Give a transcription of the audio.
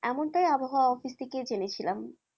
এমনটাই আবহাওয়া অফিস থেকে জেনেছিলাম।